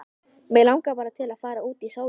Mig langar bara til að fara út í sólina.